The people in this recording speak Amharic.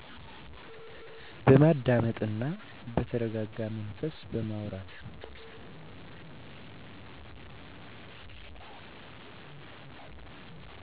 በመደማመጥ እና በተረጋጋ መንፈስ በማውራት